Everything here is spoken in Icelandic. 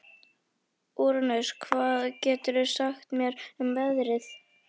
Úranus, hvað geturðu sagt mér um veðrið?